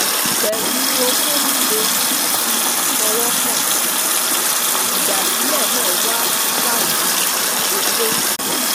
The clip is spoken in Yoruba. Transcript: Pelu oko lile ati ifowokan, idasile na wa lati oko